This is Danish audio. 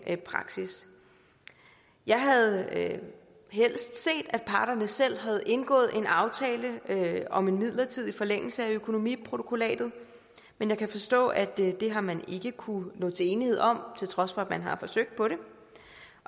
praksis jeg havde helst set at parterne selv havde indgået en aftale om en midlertidig forlængelse af økonomiprotokollatet men jeg kan forstå at det har man ikke kunnet nå til enighed om til trods for at man har forsøgt på det